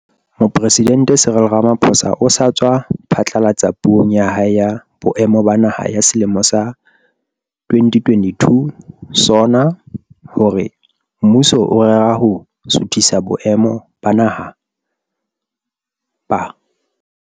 Mopresidente Cyril Ramaphosa o sa tswa phatlalatsa Puong ya hae ya Boemo ba Naha ya selemo sa 2022, SoNA, hore mmuso o rera ho suthisa boemo ba Naha ba